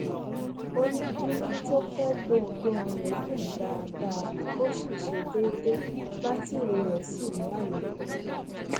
ó ní díngí tó fè gbohùgbohùn rè dún dáadáaó ṣiṣé dèèdè bátìrì rè sì ní àlòpé